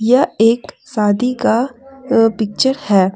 यह एक शादी का पिक्चर है।